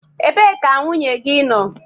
Ebee ka nwunye gị nọọ?